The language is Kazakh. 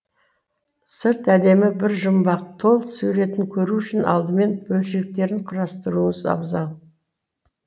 сырт әлем бір жұмбақ толық суретін көру үшін алдымен бөлшектерін құрастыруыңыз абзал